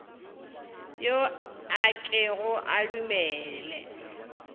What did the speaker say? yo a kego a dumele